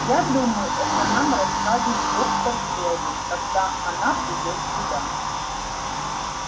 я думаю это нам расскажет доктор кэлвин когда она придёт сюда